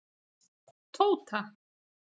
Tóta